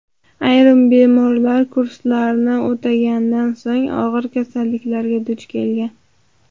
Ayrim bemorlar kurslarni o‘tagandan so‘ng og‘ir kasalliklarga duch kelgan.